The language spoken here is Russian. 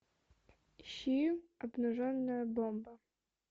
ищи обнаженная бомба